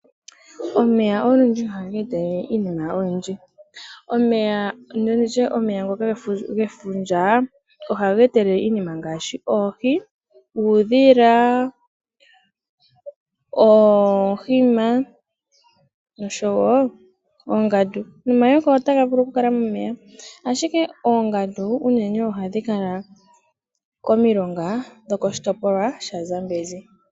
Omeya ohaga etelele iinima oyindji. Omeya nditye ngono ge fundja ohaga etelele iinima ngaashi oohi, uudhila, oohima oshowo oongandu. Nomayoka otaga vulu oku kala momeya. Ashike oongandu otadhi vulu oku kala momeya koshitopolwa shaZambezi.